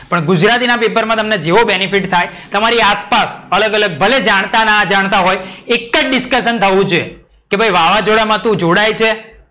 પણ ગુજરાતી ના પેપર માં તમને જેવો benefit થાય તમારી આસપાસ અલગ અલગ ભલે જાણતા ના જાણતા હોય એક જ discussion થવું જોઈએ. કે ભઈ વાવજોડામાં તું જોડાય છે?